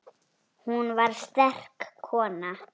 Hún var sterk kona.